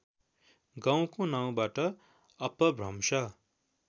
गाउँको नाउँबाट अपभ्रंश